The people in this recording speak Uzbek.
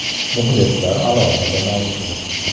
Muxlislari alohida mavzu.